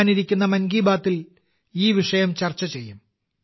വരാനിരിക്കുന്ന 'മൻ കി ബാത്തിൽ' ഞാൻ ഈ വിഷയം ചർച്ച ചെയ്യും